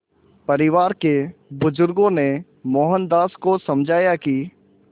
परिवार के बुज़ुर्गों ने मोहनदास को समझाया कि